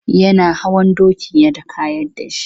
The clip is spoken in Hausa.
Yana hawa dokin ya kayar da shi.